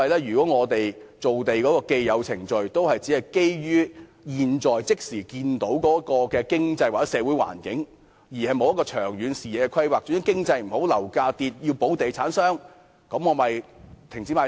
如果我們造地的既有程序也只是基於現時的經濟或社會環境，欠缺長遠視野及規劃，遇上經濟不景時，樓價下跌，政府要保護地產商，便停止賣地。